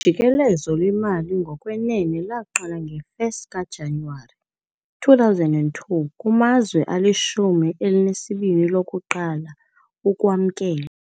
Ujikelezo lwemali ngokwenene lwaqala nge-1 kaJanuwari 2002 kumazwe alishumi elinesibini lokuqala ukuwamkela.